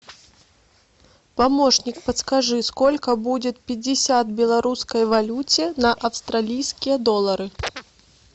помощник подскажи сколько будет пятьдесят в белорусской валюте на австралийские доллары